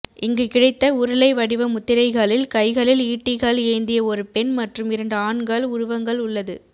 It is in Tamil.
இங்கு கிடைத்த உருளை வடிவ முத்திரைகளில் கைகளில் ஈட்டிகள் ஏந்திய ஒரு பெண் மற்றும் இரண்டு ஆண்கள் உருவங்கள் உள்ளது